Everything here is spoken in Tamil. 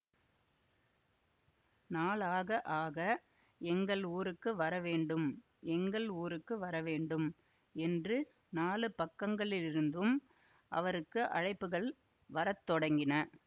நாளாக ஆக எங்கள் ஊருக்கு வரவேண்டும் எங்கள் ஊருக்கு வரவேண்டும் என்று நாலு பக்கங்களிலிருந்தும் அவருக்கு அழைப்புகள் வர தொடங்கின